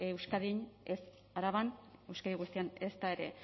euskadin ez araban euskadi guztian ezta ere